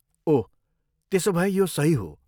ओह, त्यसोभए यो सही हो।